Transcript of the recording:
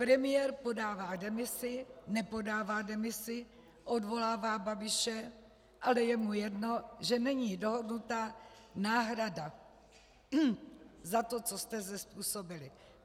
Premiér podává demisi, nepodává demisi, odvolává Babiše, ale je mu jedno, že není dohodnuta náhrada za to, co jste zde způsobili.